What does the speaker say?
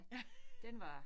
Ja